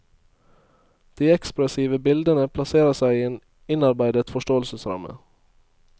De ekspressive bildene plasserer seg i en innarbeidet forståelsesramme.